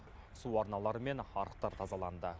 су арналары мен арықтар тазаланды